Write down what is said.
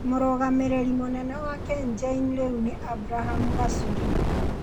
Mũrũgamĩrĩri mũnene wa KenGen rĩu nĩ Abraham Gachuri.